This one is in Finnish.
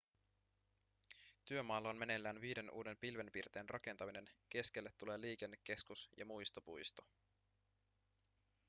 työmaalla on meneillään viiden uuden pilvenpiirtäjän rakentaminen keskelle tulee liikennekeskus ja muistopuisto